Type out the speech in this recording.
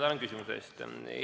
Tänan küsimuse eest!